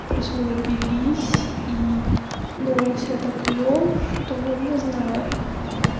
плюс мы напились и ну он себя так вёл что не знаю